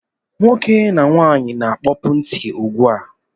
Nwoke na nwaanyị na-akpopu ntị ụgbụ a